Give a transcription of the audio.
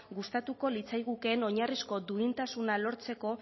gustatuko litzaigukeen oinarrizko duintasuna lortzeko